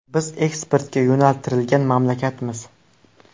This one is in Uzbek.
Biz eksportga yo‘naltirilgan mamlakatmiz.